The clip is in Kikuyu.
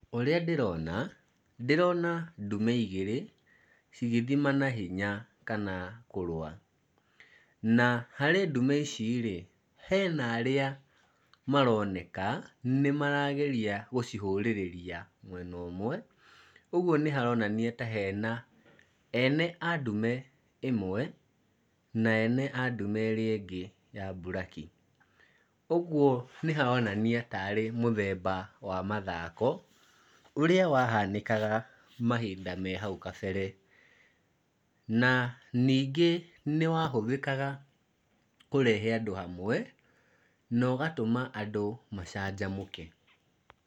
Ũria ndĩrona, ndĩrona ndume igĩrĩ cigĩthimana hinya kana kũrũa. Na harĩ ndume ici rĩ, hena arĩa maroneka nĩmarageria gũcihurĩrĩria mwena ũmwe. Ũguo nĩ haronania ta hena ene a ndume ĩmwe na ene a ndume ĩrĩa ĩngĩ ya buraki. Ũguo nĩ haronania taarĩ mũthemba wa mathako ũrĩa wahanĩkaga mahinda me hau kabere. Na nĩngĩ nĩ wahũthĩkaga kũrehe andũ hamwe, na ũgatũma andũ macanjamũke.